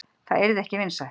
Það yrði ekki vinsælt.